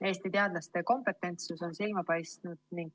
Eesti teadlaste kompetentsus on silma paistnud.